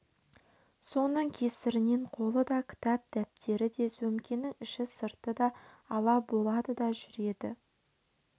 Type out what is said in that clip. соның кесірінен қолы да кітап-дәптері де сөмкенің іші-сырты да ала болады да жүреді